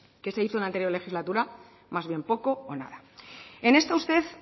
qué se hizo en la anterior legislatura más bien poco o nada en esto usted